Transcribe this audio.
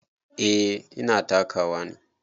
Eh ina takawa ne.